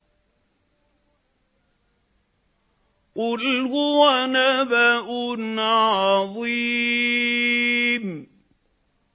قُلْ هُوَ نَبَأٌ عَظِيمٌ